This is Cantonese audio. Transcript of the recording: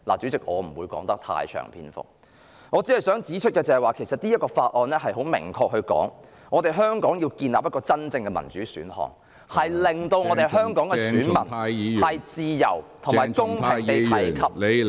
主席，我不會贅述，我只想指出，《香港人權與民主法案》很明確地說，香港要建立真正的民主選項，令香港的選民自由和公平地......